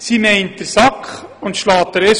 Sie meint den Sack und schlägt den Esel.